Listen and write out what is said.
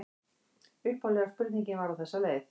Upphaflega spurningin var á þessa leið: